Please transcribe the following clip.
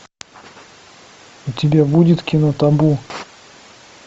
у тебя будет кино табу